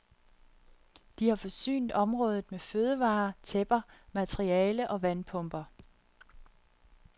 De har forsynet området med fødevarer, tæpper, materiale og vandpumper.